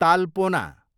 तालपोना